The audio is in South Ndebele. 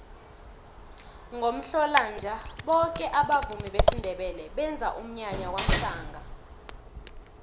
ngomhlolanja boke abavumi besindebele benza umnyanya kwamhlanga